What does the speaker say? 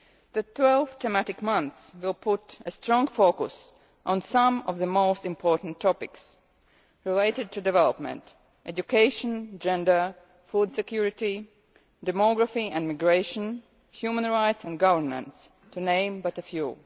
The twelve thematic months will put a strong focus on some of the most important topics related to development education, gender, food security, demography, immigration, human rights and governance, to name but a few.